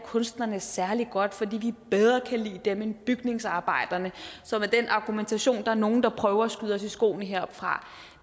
kunsterne særlig godt fordi vi bedre kan lide dem end bygningsarbejderne som er den argumentation der er nogle der prøver at skyde os i skoene heroppefra